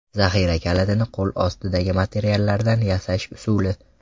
Zaxira kalitini qo‘lostidagi materiallardan yasash usuli .